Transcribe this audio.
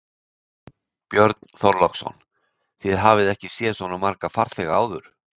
Björn Þorláksson: Þið hafið ekki séð svo marga farþega áður?